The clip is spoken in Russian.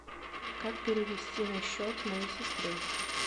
как перевести на счет моей сестре